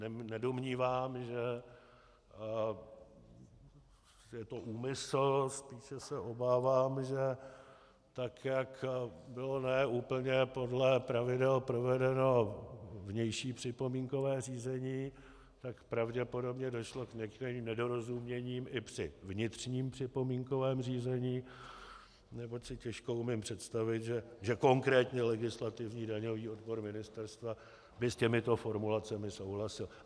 Nedomnívám se, že je to úmysl, více se obávám, že tak, jak bylo ne úplně podle pravidel provedeno vnější připomínkové řízení, tak pravděpodobně došlo k některým nedorozuměním i při vnitřním připomínkovém řízení, neboť si těžko umím představit, že konkrétně legislativní daňový odbor ministerstva by s těmito formulacemi souhlasil.